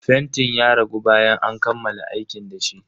Fentin ya ragu bayan an kammala aiki dashi.